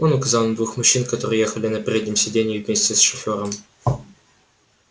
он указал на двух мужчин которые ехали на переднем сидении вместе с шофёром